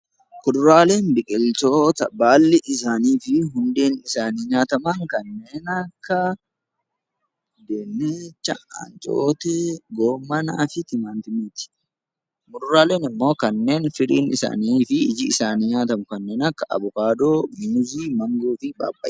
Fuduraaleen biqiloota baalli isaanii fi hundeen nyaataman dinnichaa, ancootee, raafuu fa'aa muduraaleen immoo kanneen iji isaanii fi firiin isaanii nyaatamu kanneen akka avokaadoo, muuzii , maangoo fi pappaayaa